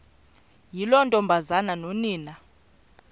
yiloo ntombazana nonina